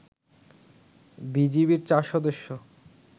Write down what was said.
বিজিবির ৪ সদস্য